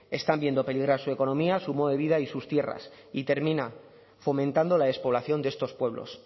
están viendo peligrar su economía su modo de vida y sus tierras y termina fomentando la despoblación de estos pueblos